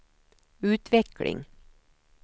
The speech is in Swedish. utveckling